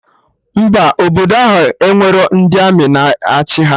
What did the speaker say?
Mba, obodo ahụ enwerọ ndị Armị na achị ha